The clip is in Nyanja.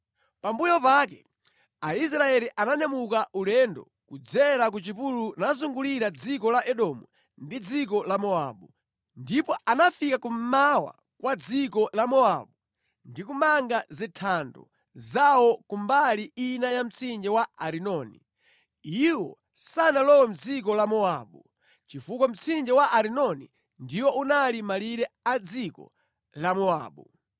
“Pambuyo pake, Aisraeli ananyamuka ulendo kudzera ku chipululu nazungulira dziko la Edomu ndi dziko la Mowabu, ndipo anafika ku mmawa kwa dziko la Mowabu ndi kumanga zinthando zawo ku mbali ina ya mtsinje wa Arinoni. Iwo sanalowe mʼdziko la Mowabu, chifukwa mtsinje wa Arinoni ndiwo unali malire a dziko la Mowabu.